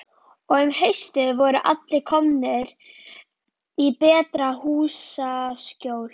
Og um haustið voru allir komnir í betra húsaskjól.